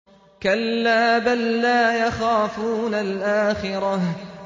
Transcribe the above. كَلَّا ۖ بَل لَّا يَخَافُونَ الْآخِرَةَ